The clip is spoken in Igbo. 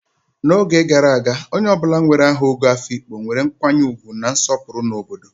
N'oge gara aga, onye ọ bụla nwere aha Ogo Afikpo nwere nkwanye ugwu na nsopuru na obodo.